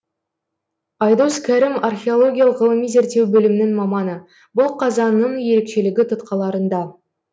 айдос кәрім археологиялық ғылыми зерттеу бөлімінің маманы бұл қазанның ерекшелігі тұтқаларында